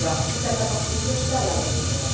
Sitä tapahtuu myös tällä hetkellä.